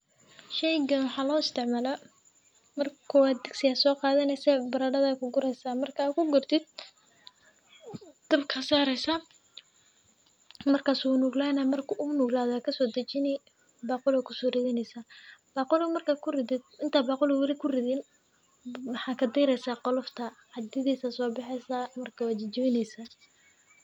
Sheeyga waxa la istimala marka kowad digsi ay soo qaadeenisa baradada ku guuraysa, markaa ku guurtid dabka saaraysa. Marka suu nuug lahaynaa markuu u um nuuglaadaa ka soo dejiinay baqulo kuso ridanaysa. Baqolu markaa ku riday intaa baqoluhu weli ku ridin maxaa ka tiri qolofta cadiyeedaysa sobaxaysa markii waajijyaynaysa.